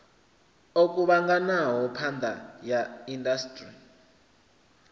o kuvhanganaho phakha ya indasiṱiri